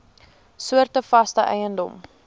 soorte vaste eiendom